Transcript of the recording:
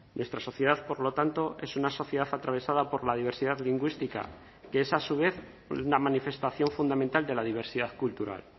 nuestra sociedad por lo tanto es una sociedad atravesada por la diversidad lingüística que es a su vez una manifestación fundamental de la diversidad cultural